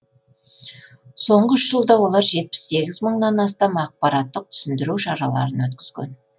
соңғы үш жылда олар жетпіс сегіз мыңнан астам ақпараттық түсіндіру шараларын өткізген